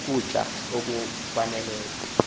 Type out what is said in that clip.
uku tya okwaneleyo